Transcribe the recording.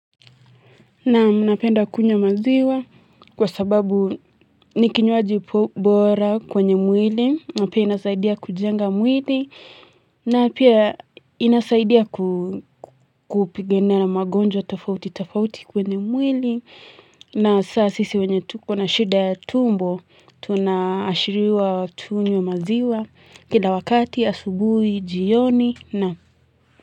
Naam napenda kunywa maziwa kwa sababu ni kinywaji bora kwenye mwili, na pia inasaidia kujenga mwili, na pia inasaidia kupigana na magonjwa tofauti tofauti kwenye mwili, na saa sisi wanye tuko na shida ya tumbo, tunaashiriwa tunywe maziwa, kila wakati asubuhi jioni na.